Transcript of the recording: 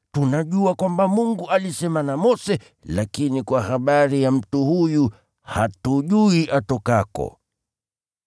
Tunajua kwamba Mungu alisema na Mose, lakini kwa habari ya mtu huyu hatujui atokako.”